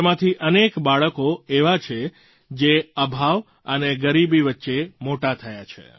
તેમાંથી અનેક બાળકો એવાં છે જે અભાવ અને ગરીબી વચ્ચે મોટાં થયાં છે